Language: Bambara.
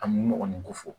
A mun ɲɔgɔn ko fɔ